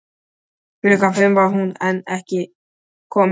Klukkan fimm var hún enn ekki komin.